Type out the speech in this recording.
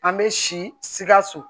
An bɛ sikaso